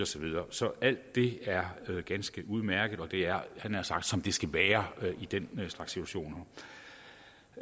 så videre så alt det er ganske udmærket og det er jeg nær sagt som det skal være i den slags situationer